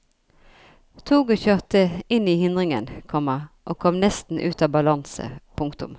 Toget kjørte inn i hindringene, komma og kom nesten ut av balanse. punktum